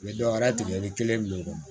U bɛ dɔwɛrɛ tigɛlen kelen min kɔnɔ